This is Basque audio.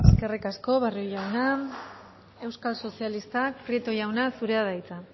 eskerrik asko barrio jauna euskal sozialistak prieto jauna zurea da hitza